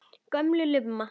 Gömul lumma.